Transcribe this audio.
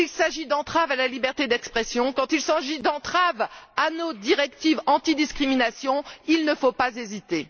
Quand il s'agit d'entraves à la liberté d'expression, quand il s'agit d'entraves à nos directives anti discrimination, il ne faut pas hésiter.